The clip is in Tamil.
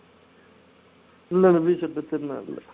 இல்லை இல்லை திருநா இல்லை